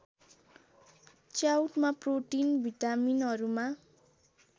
च्याउमा protein भिटामिनहरूमा